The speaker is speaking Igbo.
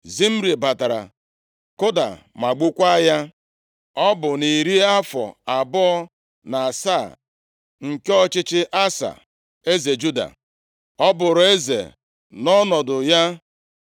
Zimri batara kụdaa ma gbukwaa ya. Ọ bụ nʼiri afọ abụọ na asaa nke ọchịchị Asa, eze Juda. Ọ bụụrụ eze nʼọnọdụ ya.